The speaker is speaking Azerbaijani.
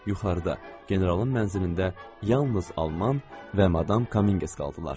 Yuxarıda, generalın mənzilində yalnız Alman və Madam Kominqes qaldılar.